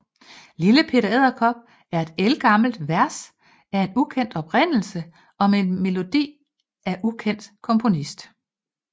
Lille Peter Edderkop er et ældgammelt vers af ukendt oprindelse og med melodi af ukendt komponist